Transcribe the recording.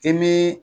I m'i